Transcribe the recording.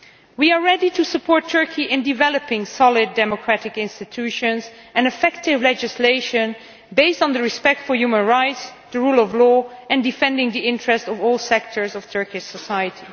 We are ready to support Turkey in developing solid democratic institutions and effective legislation based on respect for human rights, the rule of law and defence of the interests of all sectors of Turkish society.